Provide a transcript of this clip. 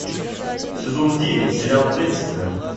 сезон девять сериал декстер